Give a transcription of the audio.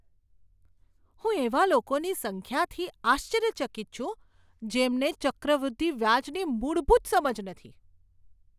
હું એવા લોકોની સંખ્યાથી આશ્ચર્યચકિત છું, જેમને ચક્રવૃદ્ધિ વ્યાજની મૂળભૂત સમજ નથી.